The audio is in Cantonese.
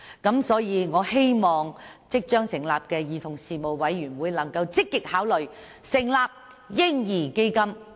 因此，我希望即將成立的兒童事務委員會能夠積極考慮設立"嬰兒基金"。